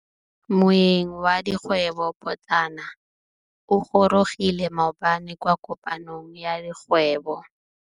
Moêng wa dikgwêbô pôtlana o gorogile maabane kwa kopanong ya dikgwêbô.